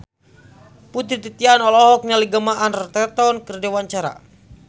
Putri Titian olohok ningali Gemma Arterton keur diwawancara